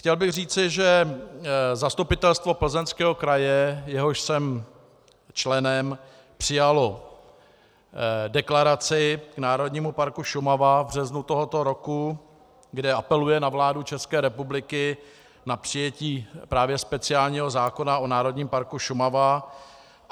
Chtěl bych říct, že Zastupitelstvo Plzeňského kraje, jehož jsem členem, přijalo deklaraci k Národnímu parku Šumava v březnu tohoto roku, kde apeluje na vládu České republiky, na přijetí právě speciálního zákona o Národním parku Šumava.